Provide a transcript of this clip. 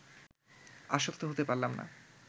আশ্বস্ত হতে পারলাম না